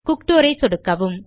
குக்டர் ஐ சொடுக்கவும்